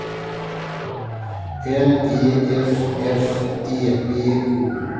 L E S S E B O